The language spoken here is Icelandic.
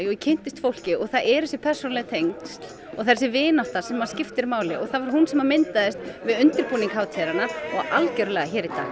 og ég kynntist fólki og það eru þessi persónulegu tengsl og þessi vinátta sem skiptir máli og það var hún sem myndaðist við undirbúning hátíðarinnar og algjörlega hér í dag